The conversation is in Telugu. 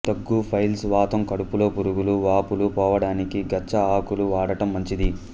దగ్గు పైల్స్ వాతం కడుపులో పురుగులు వాపులు పోవడానికి గచ్చ ఆకులు వాడటం మంచిది